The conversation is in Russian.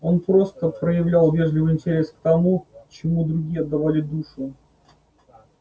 он просто проявлял вежливый интерес к тому чему другие отдавали душу